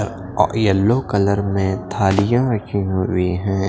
अ ओ yellow colour में थालियाँ रखी हुई हैं।